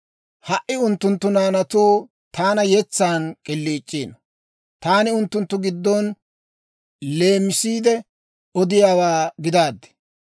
«Ha"i unttunttu naanatuu taana yetsan k'iliic'iino; taani unttunttu giddon leemisiide odiyaawaa gidaaddi.